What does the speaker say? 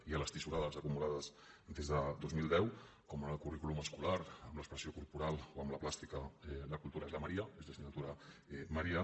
i en les tisorades acumulades des del dos mil deu com ara en el currículum escolar amb l’expressió corporal o amb la plàstica la cultura és la maria és l’assignatura maria